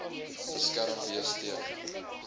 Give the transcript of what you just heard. beskerm wees teen